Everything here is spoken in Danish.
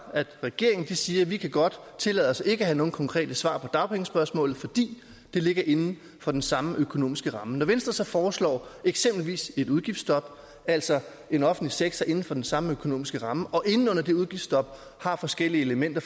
regeringen siger vi kan godt tillade os ikke at have nogen konkrete svar på dagpengespørgsmålet fordi det ligger inden for den samme økonomiske ramme når venstre så foreslår eksempelvis et udgiftsstop altså en offentlig sektor inden for den samme økonomiske ramme og inde under det udgiftsstop har forskellige elementer